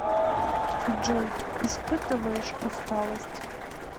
джой испытываешь усталость